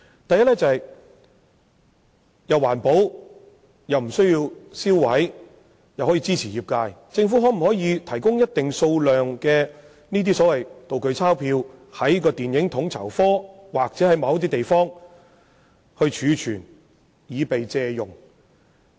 第一，是既環保又無須銷毀"道具鈔票"，並可支持業界的做法，就是由政府提供一定數量的"道具鈔票"，並由統籌科儲存在某些地點供業界借用。